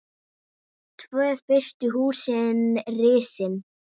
Tvö fyrstu húsin risin.